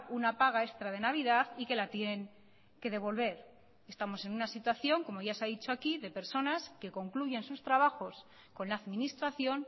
una paga extra de navidad y que la tienen que devolver estamos en una situación como ya se ha dicho aquí de personas que concluyen sus trabajos con la administración